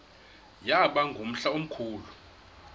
yaba ngumhla omkhulu